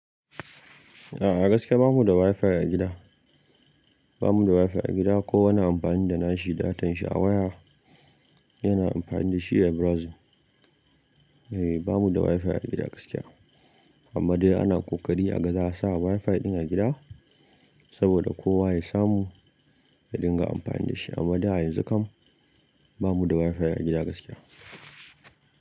A'a gaskiya bamu da Wi-Fi a gida. Ba mu da Wi-Fi a gida ko wani amfani da nashi datanshi awaya yana amfani da shi a browsing. Eh bamu da Wi-Fi a gida gaskiya, amma dai ana ƙoƙari a gaza sa Wi-Fi ɗin a gida saboda kowa ya samu ya dinga amfani da shi. Amma dai yanzu kam bamu da Wi-Fi a gida gaskiya.